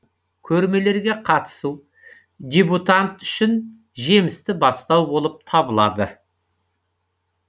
дебютант үшін жемісті бастау болып табылады